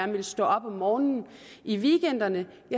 ville stå op om morgenen i weekenderne